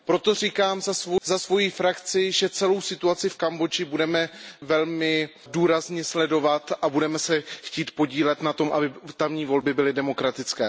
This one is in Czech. Proto říkám za svoji frakci, že celou situaci v Kambodži budeme velmi důrazně sledovat a budeme se chtít podílet na tom, aby tamní volby byly demokratické.